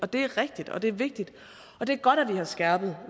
det er rigtigt og det er vigtigt og det er godt at vi har skærpet